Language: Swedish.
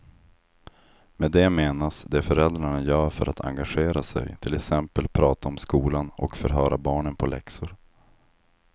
Med det menas det föräldrarna gör för att engagera sig, till exempel prata om skolan och förhöra barnen på läxor.